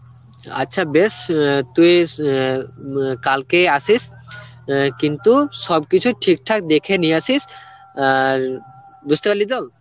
আচ্ছা বেশ অ্যাঁ তুইস অ্যাঁ মুঅ্যাঁ কালকে আসিস অ্যাঁ কিন্তু সবকিছু ঠিকঠাক দেখে নিয়ে আসিস আর, বুঝতে পারলি তো?